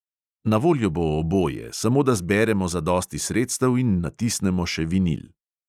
Na voljo bo oboje, samo da zberemo zadosti sredstev in natisnemo še vinil.